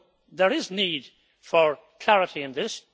There is need for clarity on this.